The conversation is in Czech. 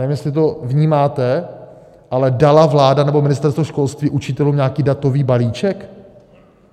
Nevím, jestli to vnímáte, ale dala vláda nebo Ministerstvo školství učitelům nějaký datový balíček?